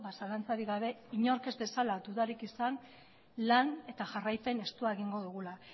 zalantzarik gabe inork ez dezala dudarik izan lan eta jarraipen estua egingo dugula